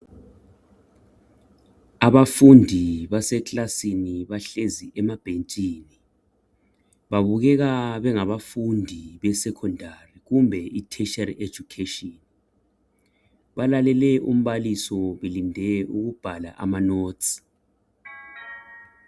Abafundi base kilasini bahlezi emabhentshini babukeka bengabafundi be secondary kumbe i tertiary education balalele umbalisi belinde ukubhala ama notes.